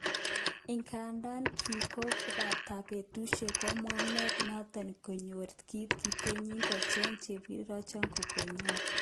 Ingandan kinkobata betushek kabwanet noton koyet kit kitnekiyai kocheng chepkerichot koyigon.